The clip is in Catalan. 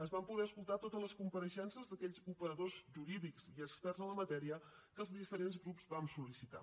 es van poder escoltar totes les compareixences d’aquells operadors jurídics i experts en la matèria que els diferents grups vam sol·licitar